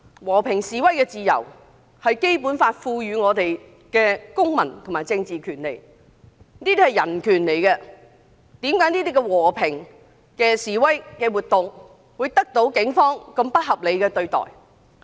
和平示威是《基本法》賦予我們的公民和政治權利，是人權，為何這類和平示威活動會得到警方如此不合理的對待？